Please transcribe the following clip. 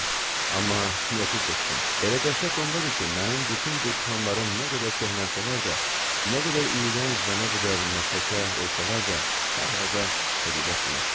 Amma nəcib dostum, elə dəhşət ondadır ki, mənim bütün bu iddialarım nə qədər köhnəlsələr də, nə qədər iyrənc və nə qədər məsəkə olsalar da, hər halda həqiqətdirlər.